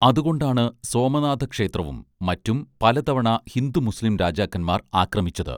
അതുകൊണ്ടാണ് സോമനാഥക്ഷേത്രവും മറ്റും പലതവണ ഹിന്ദു മുസ്ലിം രാജാക്കന്മാർ ആക്രമിച്ചത്